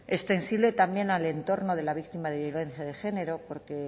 extensible también al entorno de la víctima de violencia de género porque